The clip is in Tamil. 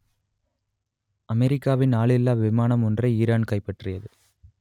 அமெரிக்காவின் ஆளில்லா விமானம் ஒன்றை ஈரான் கைப்பற்றியது